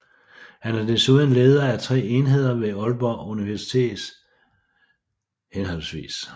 Han er desuden leder af tre enheder ved Aalborg Universitet hhv